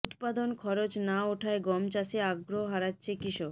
উৎপাদন খরচ না ওঠায় গম চাষে আগ্রহ হারাচ্ছে কৃষক